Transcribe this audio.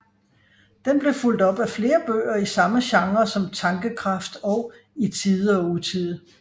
Den blev fulgt op af flere bøger i samme genre som Tankekraft og I Tide og Utide